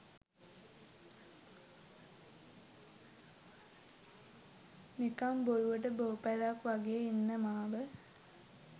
නිකං බොරුවට බෝපැලයක් වගේ ඉන්න මාව